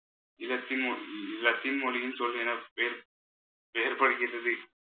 லத்தீன்ம~ Latin மொழின்னு சொல் என வே~ வேறுபடுகிறது